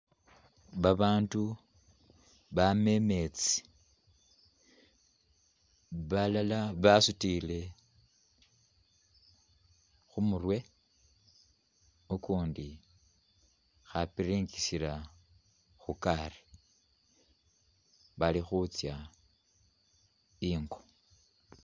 Abandu bama imetsi, balala basutile khumurwe ukundi akhapiringisila khugaali bali khutsa ingo.